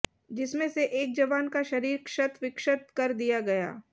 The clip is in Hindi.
जिसमें से एक जवान का शरीर क्षत विक्षत कर दिया गया